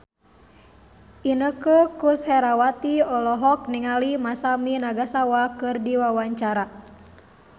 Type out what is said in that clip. Inneke Koesherawati olohok ningali Masami Nagasawa keur diwawancara